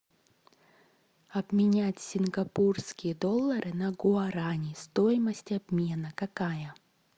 обменять сингапурские доллары на гуарани стоимость обмена какая